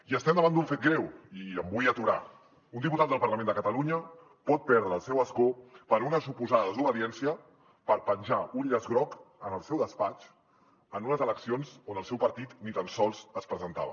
i estem davant d’un fet greu i m’hi vull aturar un diputat del parlament de catalunya pot perdre el seu escó per una suposada desobediència per penjar un llaç groc en el seu despatx en unes eleccions on el seu partit ni tan sols es presentava